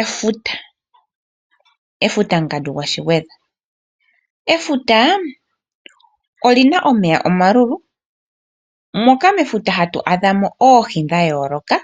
Efuta Efuta mungadu gwaShigwedha. Efuta oli na omeya omalulu, moka mefuta hatu adha mo oohi dha yooloka